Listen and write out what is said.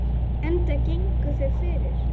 Enda gengu þau fyrir.